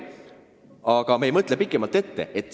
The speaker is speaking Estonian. Aga me ei mõtle pikemalt ette.